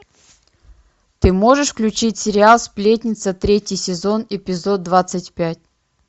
ты можешь включить сериал сплетница третий сезон эпизод двадцать пять